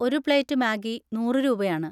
ഒരു plate Maggi നൂറ് രൂപയാണ്.